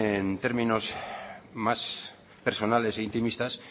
en términos más personales e intimistas